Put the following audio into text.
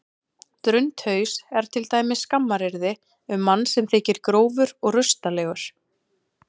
Drundhaus er til dæmis skammaryrði um mann sem þykir grófur og rustalegur.